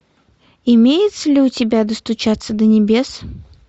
имеется ли у тебя достучаться до небес